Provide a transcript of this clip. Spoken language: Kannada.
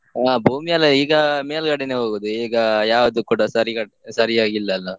ಆಹ್ ಭೂಮಿಯಲ್ಲ ಈಗ ಮೇಲ್ಗಡೆನೇ ಹೋಗುದು, ಈಗ ಯಾವ್ದು ಕೂಡ ಸರಿ ಕಟ್ , ಸರಿ ಆಗಿ ಇಲ್ಲ ಅಲ್ಲಾ?